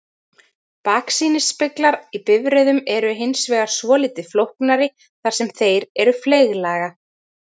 Baksýnisspeglar í bifreiðum eru hins vegar svolítið flóknari þar sem þeir eru fleyglaga.